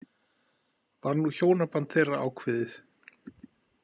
Var nú hjónaband þeirra ákveðið.